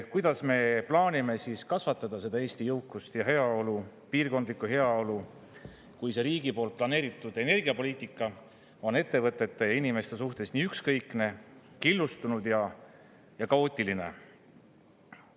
Kuidas me plaanime kasvatada seda Eesti jõukust ja heaolu, piirkondlikku heaolu, kui see riigi poolt planeeritud energiapoliitika on ettevõtete ja inimeste suhtes nii ükskõikne, killustunud ja kaootiline?